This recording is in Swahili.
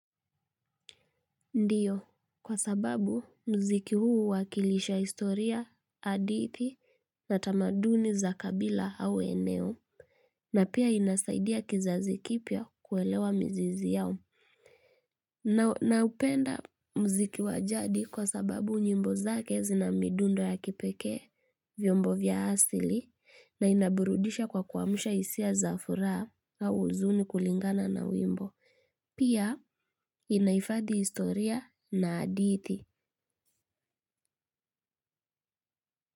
Ndiyo, kwa sababu mziki huu huwakilisha historia, hadithi na tamaduni za kabila au eneo na pia inasaidia kizazi kipya kuelewa mzizi yao. Na upenda mziki wajadi kwa sababu nyimbo zake zina midundo ya kipekee. Vyombo vya asili na inaburudisha kwa kuwamisha hisia za furaha au huzuni kulingana na wimbo. Pia inaifadhi historia na haditi.